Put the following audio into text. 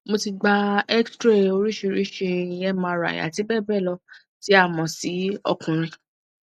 mo ti gba xray orisirisi mri ati bee bee lo ti a mo si okunrin